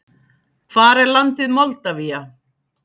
Hvar er landið Moldavía?